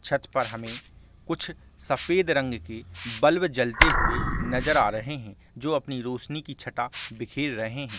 छत पर हमें कुछ सफेद रंग के बल्ब जलते हुए नज़र आ रहै है जो अपने रोशनी की छठा बिखेर रहै है।